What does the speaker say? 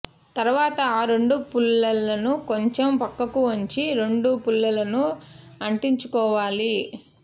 తర్వాత ఆ రెండు పుల్లలను కొంచెం పక్కకు వంచి రెండు పుల్లలను అంటించుకోవాలి